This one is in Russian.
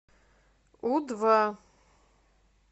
у два